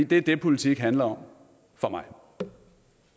det er det politik handler om for mig